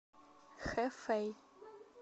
хэфэй